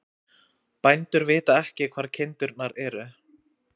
Bændur vita ekki hvar kindurnar eru